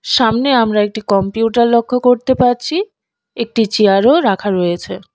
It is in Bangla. সামনে আমরা একটি কম্পিউটার লক্ষ্য করতে পারছি একটি চেয়ারও রাখা রয়েছে।